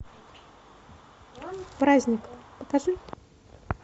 праздник покажи